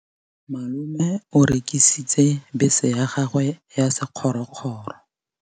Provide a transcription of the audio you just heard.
Malome o rekisitse bese ya gagwe ya sekgorokgoro.